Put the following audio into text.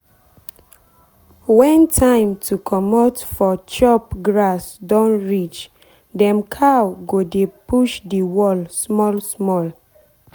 when time to comot for chop grass don reachdem cow go dey push the wall small small.